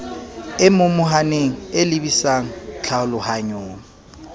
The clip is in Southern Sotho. e momohaneng e lebisang tlhalohanyong